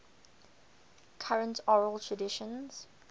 current oral traditions